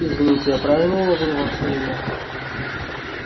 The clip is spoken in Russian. извините я правильно уловил ваше имя